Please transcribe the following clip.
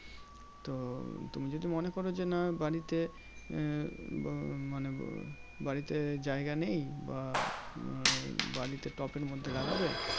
তো তুমি যদি মনে করো যে না বাড়িতে মানে বাড়িতে জায়গা নেই বাড়িতে টবের মধ্যে লাগবে?